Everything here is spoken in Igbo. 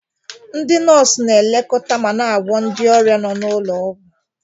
Ndị nọọsụ na-elekọta ma na-agwọ ndị ọrịa nọ n'ụlọ ọgwụ.